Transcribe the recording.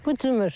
Bu cımır.